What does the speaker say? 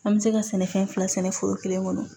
An bɛ se ka sɛnɛfɛn fila sɛnɛ foro kelen kɔnɔ